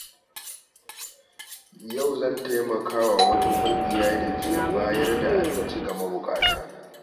Yau zan taimaka wa wata ƙungiya da ke bayar da abinci ga mabuƙata.